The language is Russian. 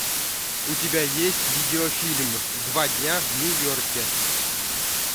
у тебя есть видеофильм два дня в нью йорке